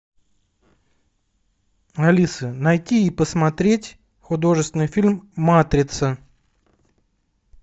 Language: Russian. алиса найти и посмотреть художественный фильм матрица